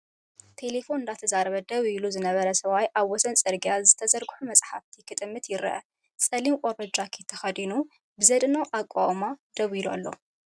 ቴለፎን እንዳዛረበ ደው ኢሉ ዝነበረ ሰብኣይ ኣብ ወሰን ጽርግያ ዝተዘርግሑ መጻሕፍቲ ክጥምት ይርአ። ጸሊም ቆርበት ጃኬት ተኸዲኑ ብዘደንቕ ኣቃውማ ደው ኢሉ ኣሎ!